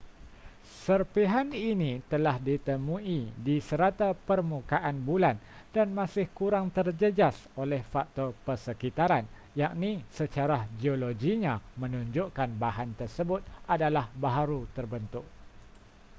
serpihan ini telah ditemui di serata permukaan bulan dan masih kurang terjejas oleh faktor persekitaran yakni secara geologinya menunjukkan bahan tersebut adalah baharu terbentuk